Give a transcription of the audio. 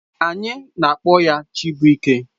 Anyị na-akpọ ya Chibụike.